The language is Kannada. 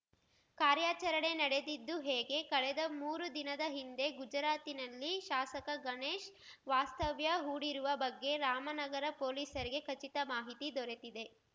ಕಾರ್ಯಾಚರಣೆ ನಡೆದಿದ್ದು ಹೇಗೆ ಕಳೆದ ಮೂರು ದಿನದ ಹಿಂದೆ ಗುಜರಾತಿನಲ್ಲಿ ಶಾಸಕ ಗಣೇಶ್‌ ವಾಸ್ತವ್ಯ ಹೂಡಿರುವ ಬಗ್ಗೆ ರಾಮನಗರ ಪೊಲೀಸರಿಗೆ ಖಚಿತ ಮಾಹಿತಿ ದೊರೆತಿದೆ